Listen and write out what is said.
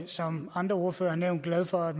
som andre ordførere er vi glade for at